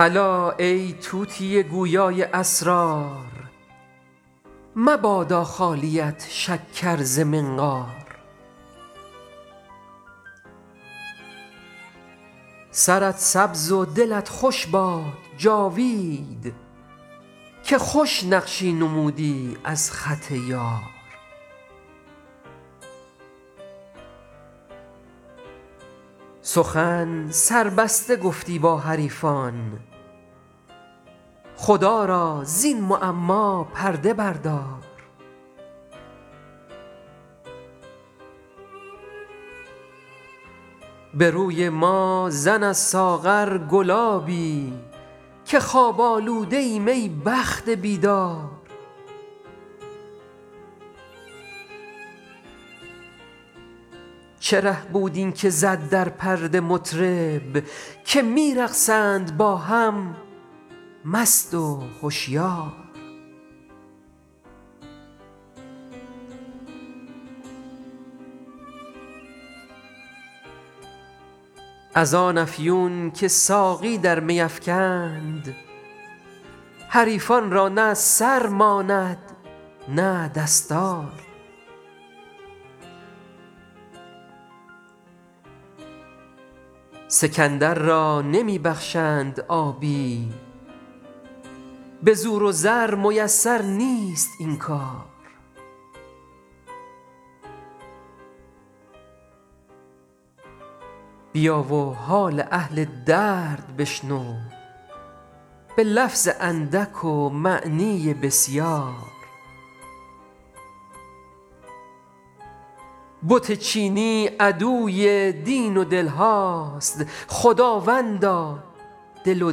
الا ای طوطی گویا ی اسرار مبادا خالیت شکر ز منقار سرت سبز و دلت خوش باد جاوید که خوش نقشی نمودی از خط یار سخن سربسته گفتی با حریفان خدا را زین معما پرده بردار به روی ما زن از ساغر گلابی که خواب آلوده ایم ای بخت بیدار چه ره بود این که زد در پرده مطرب که می رقصند با هم مست و هشیار از آن افیون که ساقی در می افکند حریفان را نه سر ماند نه دستار سکندر را نمی بخشند آبی به زور و زر میسر نیست این کار بیا و حال اهل درد بشنو به لفظ اندک و معنی بسیار بت چینی عدوی دین و دل هاست خداوندا دل و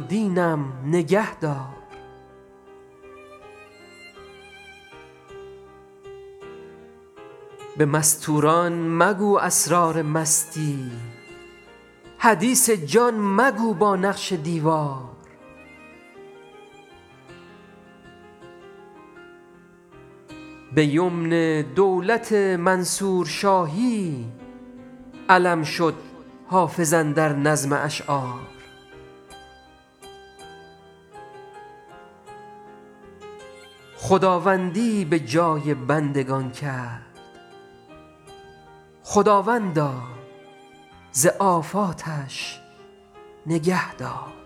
دینم نگه دار به مستور ان مگو اسرار مستی حدیث جان مگو با نقش دیوار به یمن دولت منصور شاهی علم شد حافظ اندر نظم اشعار خداوندی به جای بندگان کرد خداوندا ز آفاتش نگه دار